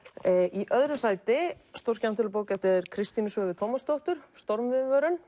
í öðru sæti stórskemmtileg bók eftir Kristínu Svövu Tómasdóttur